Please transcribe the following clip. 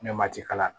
Ne ma ci kalan na